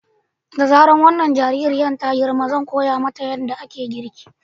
Da zarar wannan jaririyar ta girma zan koya mata yadda ake girki.